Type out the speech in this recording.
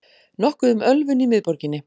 Nokkuð um ölvun í miðborginni